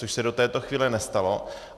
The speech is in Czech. Což se do této chvíle nestalo.